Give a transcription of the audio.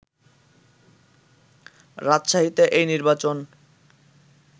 রাজশাহীতে এই নির্বাচন